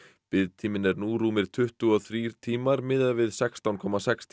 biðtíminn er nú tuttugu og þrír tímar miðað við sextán komma sex